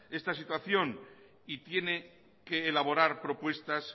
esta situación y tiene que elaborar propuestas